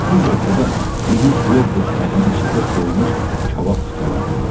Düz ortada iri plov boşqabının içində soyumuş kabab tikələri var idi.